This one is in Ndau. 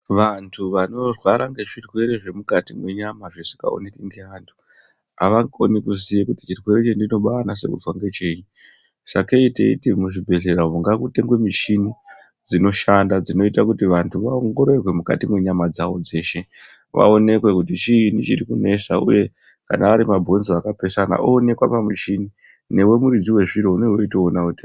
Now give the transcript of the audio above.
Vantu vanorwara ngezvirwere zvemukati mwenyama zvisingaoneki ngevantu avakoni kuziye kuti chavanonase kuzwa ngechiro sakei teiti muzvibhedhlera umo ngamutengwe michini dzinoita kuti vantu vaongororwe mukati mwenyama dzawo dzeshe vaonekwe kuti chiinyi chiri kunesa uye kana arimabhonzo akapesana oonekwa pamushini newe muridzi wezviro uneuchionawo.